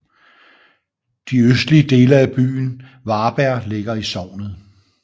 De østlige dele af byen Varberg ligger i sognet